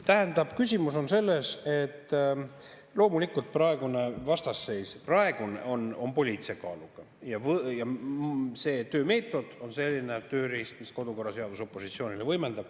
Tähendab, küsimus on selles, et loomulikult praegune vastasseis on poliitilise kaaluga ja see töömeetod on selline tööriist, mida kodukorraseadus opositsioonile võimaldab.